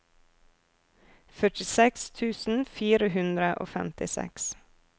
førtiseks tusen fire hundre og femtiseks